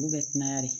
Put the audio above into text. Olu bɛ kunna de